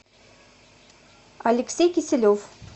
алексей кисилев